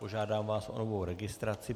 Požádám vás o novou registraci.